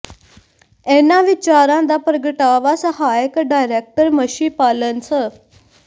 ਇਨ੍ਹਾਂ ਵਿਚਾਰਾਂ ਦਾ ਪ੍ਰਗਟਾਵਾ ਸਹਾਇਕ ਡਾਇਰੈਕਟਰ ਮੱਛੀ ਪਾਲਣ ਸ